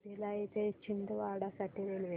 भिलाई ते छिंदवाडा साठी रेल्वे